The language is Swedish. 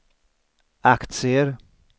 aktier